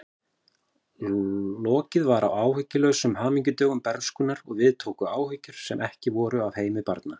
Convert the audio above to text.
Lokið var áhyggjulausum hamingjudögum bernskunnar og við tóku áhyggjur sem ekki voru af heimi barna.